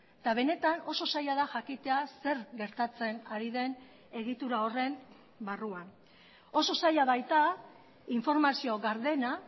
eta benetan oso zaila da jakitea zer gertatzen ari den egitura horren barruan oso zaila baita informazio gardena